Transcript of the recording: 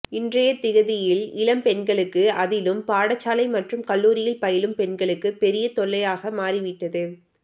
இன்றைய திகதியில் இளம் பெண்களுக்கு அதிலும் பாடசாலை மற்றும் கல்லூரியில் பயிலும் பெண்களுக்கு பெரிய தொல்லையாக மாறிவிட்டது